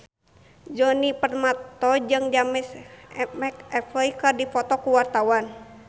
Djoni Permato jeung James McAvoy keur dipoto ku wartawan